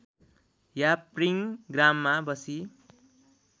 याप्रिङ ग्राममा बसी